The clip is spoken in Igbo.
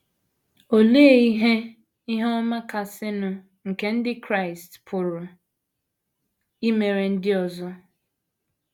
Olee ihe ihe ọma kasịnụ nke ndị Kraịst pụrụ imere ndị ọzọ?